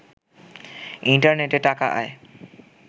ইন্টারনেটে টাকা আয়